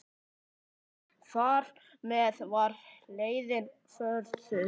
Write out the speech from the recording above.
Þar með var leiðin vörðuð.